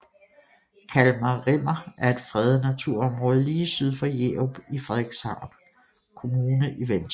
Kalmar Rimmer er et fredet naturområde lige syd for Jerup i Frederikshavn Kommune i Vendsyssel